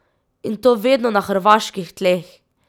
In to vedno na hrvaških tleh!